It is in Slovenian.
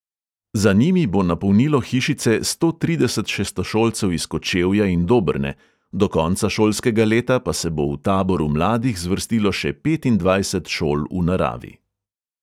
Za njimi bo napolnilo hišice sto trideset šestošolcev iz kočevja in dobrne, do konca šolskega leta pa se bo v taboru mladih zvrstilo še petindvajset šol v naravi.